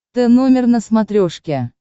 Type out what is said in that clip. тномер на смотрешке